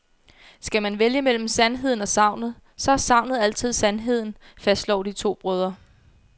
Skal man vælge mellem sandheden og sagnet, så er sagnet altid sandheden, fastslår de to brødre.